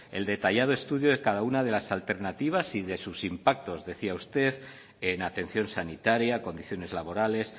el detallado estudio de cada una de las alternativas y se sus impactos decía usted en atención sanitaria condiciones laborales